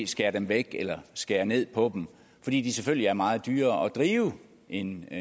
skære væk eller skære ned på fordi de selvfølgelig er meget dyrere at drive end